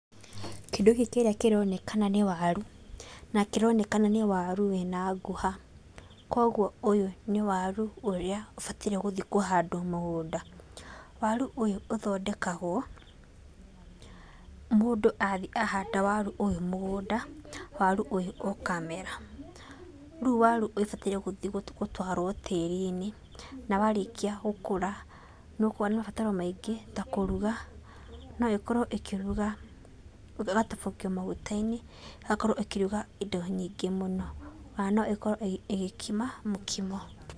Kĩndũ gĩkĩ kĩrĩa kĩronekana nĩ waru, na kĩronekana nĩ waru wĩna ngũha, kwoguo ũyũ nĩ waru ũrĩa ũbataire gũthikwo handũ mũgũnda. Waru ũyũ ũthondekagwo mũndu athiĩ ahanda waru ũyũ mũgũnda, waru ũyũ ũkamera. Rĩu waru ũyũ ũbataire gũthi gũtwaro tĩĩri-inĩ, na warĩkia gũkũra, nĩ ũkoragwo na mabataro maingĩ ta kũruga. No ĩkorwo ĩkĩruga ĩgatobokio maguta-inĩ, ĩgakorwo ĩkĩruga indo nyingĩ mũno. O na no ĩkorwo ĩgĩkima mũkimo.